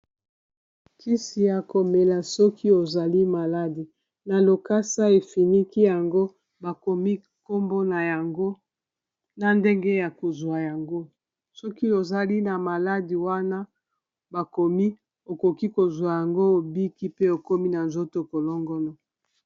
kisi ya komela soki ozali maladi na lokasa efiniki yango bakomi nkombo na yango na ndenge ya kozwa yango soki ozali na maladi wana bakomi okoki kozwa yango obiki pe okomi na nzoto kolongono